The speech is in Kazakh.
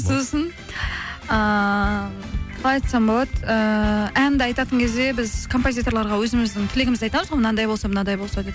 сосын ыыы қалай айтсам болады ііі әнді айтатын кезде біз композиторларға өзіміздің тілегімізді айтамыз ғой мынандай болса мынандай болса деп